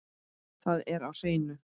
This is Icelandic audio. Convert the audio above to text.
Það er á hreinu.